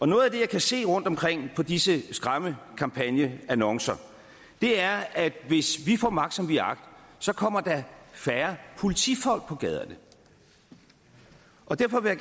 noget af det jeg kan se rundt omkring på disse skræmmekampagneannoncer er at hvis vi får magt som vi har agt så kommer der færre politifolk på gaderne og derfor vil